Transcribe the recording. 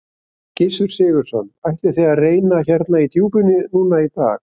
Gissur Sigurðsson: Ætlið þið að reyna hérna í djúpinu núna í dag?